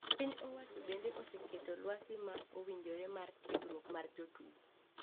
Piny owacho bende oseketo lwasi ma owinjore mar tiegruok mar jo tugo.